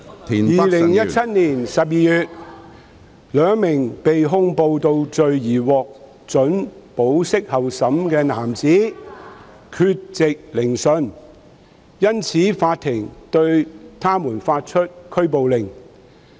2017年12月，兩名被控暴動罪而獲准保釋候審的男子缺席聆訊，因此法庭對他們發出拘捕令。